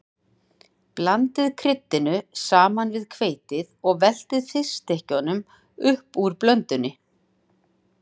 Blandið kryddinu saman við hveitið og veltið fiskstykkjunum upp úr blöndunni.